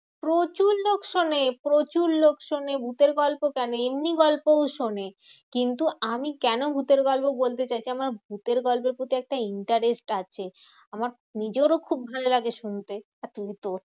প্রচুর লোক শোনে প্রচুর লোক শোনে ভুতের গল্প কেন এমনি গল্পও শোনে। কিন্তু আমি কেন ভুতের গল্প বলতে চাইছি? আমার ভুতের গল্পের প্রতি একটা interest আছে। আমার নিজেরও খুব ভালো লাগে শুনতে